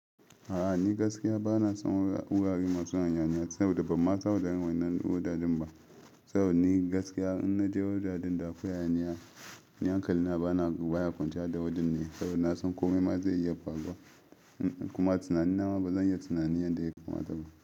A'a ni gaskiya bana son wurare masu hayaniya saboda ban ma san waɗannan wuraren ba. Saboda ni gaskiya in naje wuraren da akwai hayaniya, ni hankalina baya kwanciya da wurin ne saboda nasan kome ma zai iya faruwa kuma tunanina ma bazan iya tunanin yadda ya kamata ba.